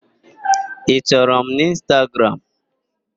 Ị chọrọ m n'Ịnstagram?